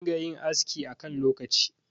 a dinga yin aski a kan lokaci